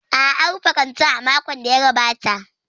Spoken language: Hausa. A'a, an rufe kantin a makon da ya gabata.